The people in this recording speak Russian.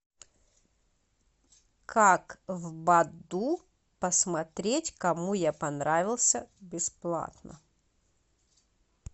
как в баду посмотреть кому я понравился бесплатно